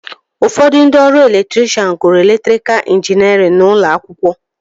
Ụfọdụ ndị ọrụ elektrikshan gụrụ elektrikal injiniarịn n'ụlọ akwụkwọ